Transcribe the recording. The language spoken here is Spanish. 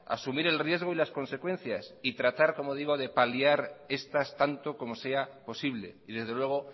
asumir el riesgo y las consecuencias y tratar de paliar estas tanto como sea posible y desde luego